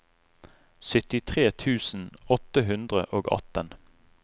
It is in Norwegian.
syttitre tusen åtte hundre og atten